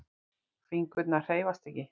Fingurnir hreyfast ekki.